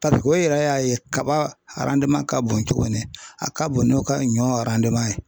Tariku o yɛrɛ y'a ye kaba arandiman ka bon cogo min a ka bon n'u ka ɲɔn arandiman ye.